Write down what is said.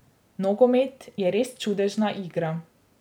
Nogomet je res čudežna igra.